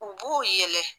U b'u yɛlɛ